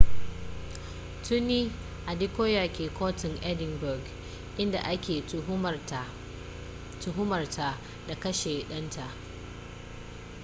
tuni adekoya ke kotun edinburgh in da a ke tuhumarta da kashe danta